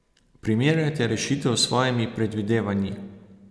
Primerjajte rešitev s svojimi predvidevanji.